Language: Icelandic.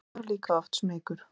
Ég var líka oft smeykur.